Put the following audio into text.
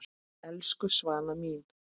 Elsku Svana mín.